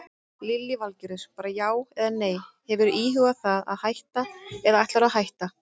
Lillý Valgerður: Bara já eða nei, hefurðu íhugað það að hætta eða ætlarðu að hætta?